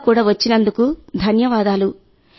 టీకా కూడా వచ్చినందుకు ధన్యవాదాలు